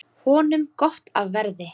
Honum gott af verði.